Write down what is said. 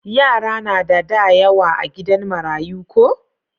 Yara na da da yawa a gidan marayu ko?